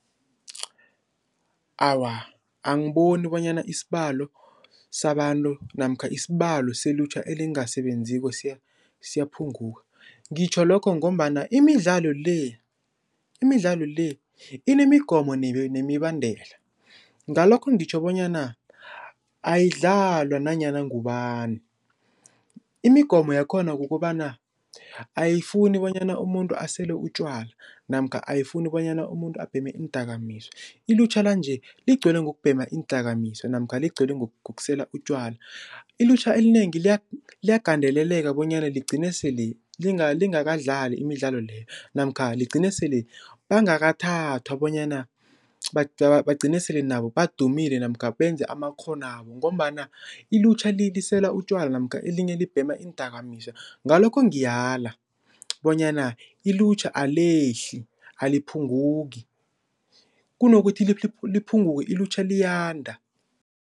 Awa angiboni bonyana isibalo sabantu namkha isibalo selutjha elingasebenziko siyaphunguka, ngitjho lokho ngombana imidlalo le imidlalo le inemigomo nemibandela, ngalokho ngitjho bonyana ayidlalwa nanyana ngubani. Imigomo yakhona kukobana ayifuni bonyana umuntu asele utjwala namkha ayifuni bonyana umuntu abheme iindakamizwa, ilutjha lanje ligcwele ngokubhema iindakamizwa namkha ligcwele ngokusela utjwala. Ilutjha elinengi liyagandeleleka bonyana ligcine sele lingakadlali imidlalo leyo namkha ligcine sele bangakathathwa bonyana bagcine sele nabo badumile namkha benze amakghonwabo ngombana ilutjha lisela utjwala namkha elinye libhema iindakamizwa, ngalokho ngiyala bonyana ilutjha alehli aliphunguki kunokuthi liphunguke ilutjha liyanda.